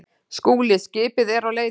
SKÚLI: Skipið er á leiðinni.